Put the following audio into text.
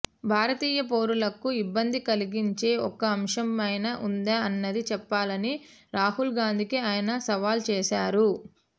భారతీయ పౌరులకు ఇబ్బంది కలిగించే ఒక్క అంశమైనా ఉందా అన్నది చెప్పాలని రాహుల్గాంధీకి ఆయన సవాల్ చేశారు